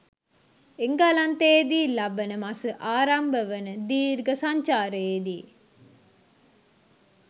එංගලන්තයේදී ලබන මස ආරම්භ වන දීර්ඝ සංචාරයේදී